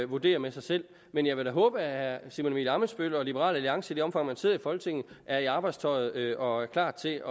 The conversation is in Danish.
vurdere med sig selv men jeg vil da håbe at herre simon emil ammitzbøll og liberal alliance i det omfang man sidder i folketinget er i arbejdstøjet og klar til